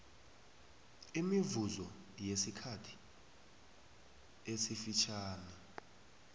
imivuzo yesikhathi esifitjhani